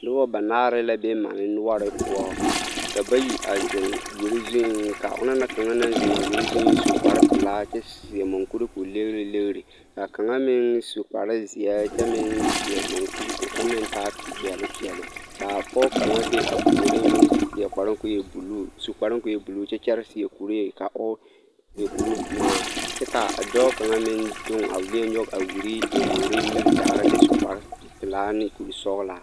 Noba banaare la be mane noɔre poɔ ka bayi a zeŋ wiri zuŋ ka onaŋ kaŋa naŋ zeŋ a wiri zuŋ su kpare pelaa kyɛ seɛ munkuri k'o legiri legiri k'a kaŋa meŋ su kpare zeɛ kyɛ meŋ seɛ munkuri k'o meŋ taa peɛle peɛle k'a pɔge kaŋa be a puoriŋ meŋ seɛ kparoŋ k'o e buluu su kparoŋ k'o e buluu kyɛ kyɛre seɛ kuree ka o e kuri ŋmaa kyɛ k'a dɔɔ kaŋa meŋ doŋ a weɛ a nyɔge a wiri nyobogiri miri tagera kyɛ su kpare pelaa ne kuri sɔgelaa.